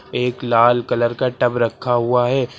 एक लाल कलर का टब रखा हुआ है।